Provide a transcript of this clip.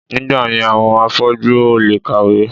Nígbàyẹn àwọn afọ́jú ò lè kàwé